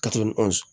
Ka to ni